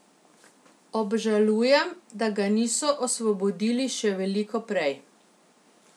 Obžalujem, da ga niso osvobodili še veliko prej.